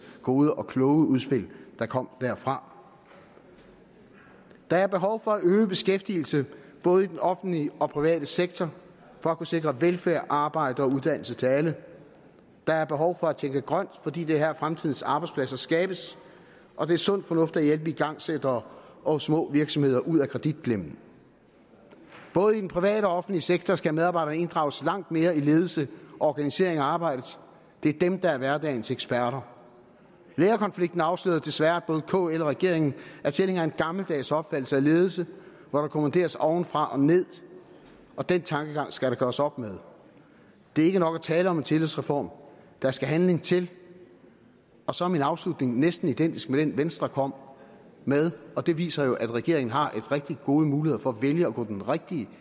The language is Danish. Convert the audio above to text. gode og kloge udspil der kom derfra der er behov for at øge beskæftigelsen i både den offentlige og den private sektor for at kunne sikre velfærd arbejde og uddannelse til alle der er behov for at tænke grønt fordi det er her fremtidens arbejdspladser skabes og det er sund fornuft at hjælpe igangsættere og små virksomheder ud af kreditklemmen både i den private og offentlige sektor skal medarbejderne inddrages langt mere i ledelse og organisering af arbejdet det er dem der er hverdagens eksperter lærerkonflikten afslørede desværre at både kl og regeringen er tilhængere af en gammeldags opfattelse af ledelsen hvor der kommanderes ovenfra og ned og den tankegang skal der gøres op med det er ikke nok at tale om en tillidsreform der skal handling til og så er min afslutning næsten identisk med den venstre kom med og det viser jo at regeringen har rigtig gode muligheder for at vælge at gå den rigtige